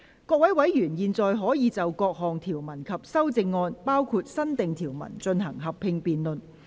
各位委員現在可以就各項條文及修正案，進行合併辯論。